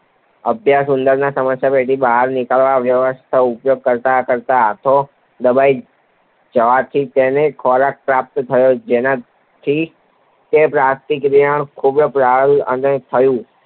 ભૂખ્યા ઉંદરના સમસ્યાપેટીમાંથી બહાર નીકળવાના વ્યર્થ પ્રયાસો કરતાં કરતાં હાથો દબાઈ જવાથી તેને ખોરાક પ્રાપ્ત થયો, જેનાથી તેની પ્રતિક્રિયાઓને પ્રબલન થયું